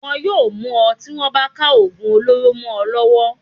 Wọ́n yóò mú ọ tí wọ́n bá ka ògùn olóró mọ ọ lọ́wọ́.